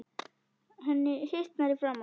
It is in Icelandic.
Henni hitnar í framan.